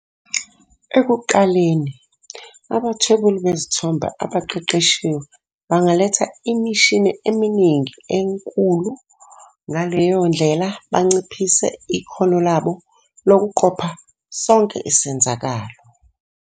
Ekuqaleni, abathwebuli bezithombe abaqeqeshiwe bangaletha imishini eminingi enkulu, ngaleyo ndlela banciphise ikhono labo lokuqopha sonke isenzakalo.